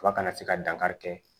Tuba kana se ka dankari kɛ